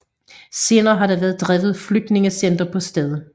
Senere har der været drevet flygtningecenter på stedet